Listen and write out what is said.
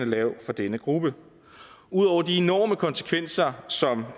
lav for denne gruppe ud over de enorme konsekvenser som